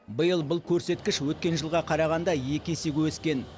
биыл бұл көрсеткіш өткен жылға қарағанда екі есеге өскен